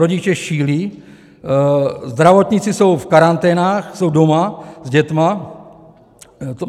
Rodiče šílí, zdravotníci jsou v karanténách, jsou doma s dětmi.